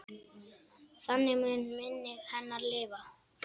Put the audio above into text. Þannig mun minning hennar lifa.